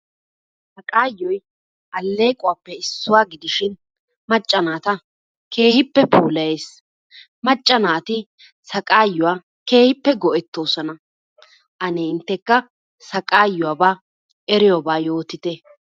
Sagaayoy aleeqquwaappe issuwa gidishin macca naata keehippe puulayees, macca naati sagaayuwaa keehippe go'etoosona. Ane intekka sagaayuwaba eriyobaa yootitte.